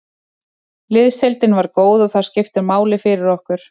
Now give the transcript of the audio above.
Liðsheildin var góð og það skiptir máli fyrir okkur.